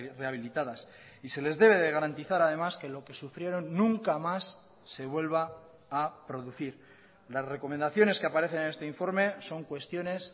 rehabilitadas y se les debe de garantizar además que lo que sufrieron nunca más se vuelva a producir las recomendaciones que aparecen en este informe son cuestiones